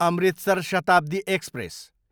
Amritsar Shatabdi express